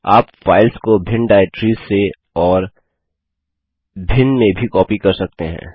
आप फाइल्स को भिन्न डाइरेक्टरिस से और भिन्न में भी कॉपी कर सकते हैं